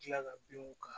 Tila ka binw kan